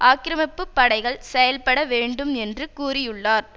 ஆக்கிரமிப்பு படைகள் செயல் பட வேண்டும் என்று கூறியுள்ளார்